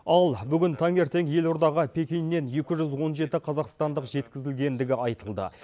ал бүгін таңертең елордаға пекиннен екі жүз он жеті қазақстандық жеткізілгендігі айтылды